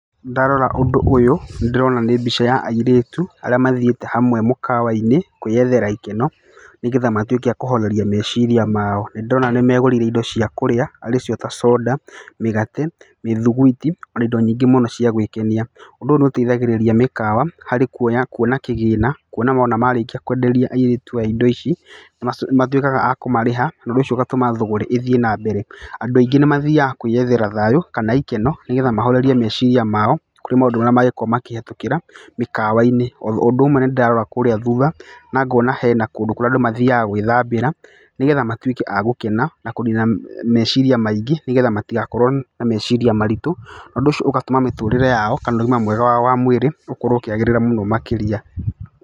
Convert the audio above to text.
Ndarora ũndũ ũyũ, nĩ ndĩrona nĩ mbica ya airĩtu arĩa mathiĩte hamwe mũkawa -inĩ kwĩyethĩra ikeno, nĩgetha matwĩke akũhoreria meciria mao. Nĩ ndona nĩ megũrĩire indo ciao cia kũrĩa arĩcio ta soda mĩgate, mĩthigwiti, na indo nyingĩ mũno cia gwĩkenia. Ũndũ nĩ ũteithagĩrĩria mĩkawa harĩ kuona kĩgĩna no marĩkia kwenderia airĩtu indo ici nĩ matuwĩkaga akũmarĩha, ũndũ ũcio ũgatũma thũgũrĩ ĩthiĩ na mbere. Andũ aingĩ nĩ mathiaga kwĩethera thayũ kana ikeno nĩgetha mahorerie meciria mao kũrĩ maũndũ mangĩkorwo makĩhũtũkĩra mĩkawa-inĩ, o ũndũ ũmwe nĩ ndĩrarora kũrĩa thutha na ngona kũrĩ kũndũ andũ mathiaga gwĩthambĩra nĩgetha matwĩke a gũkena na kũnina meciria maingĩ nĩgetha matigakorwo na meciria maritũ. Na ũndũ ũcio ũgatũma mĩtũrĩre yao kana ũgima wao wa mwĩrĩ ũkorwo ũkĩagĩrĩra mũno makĩria.